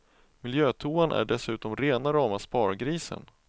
Miljötoan är dessutom rena rama spargrisen.